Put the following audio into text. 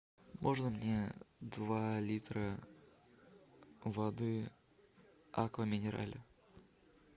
можно мне два литра воды аква минерале